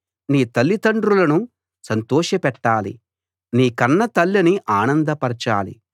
నీ తలిదండ్రులను సంతోషపెట్టాలి నీ కన్న తల్లిని ఆనందపరచాలి